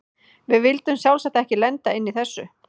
Við vildum sjálfsagt ekki lenda inni í þessu!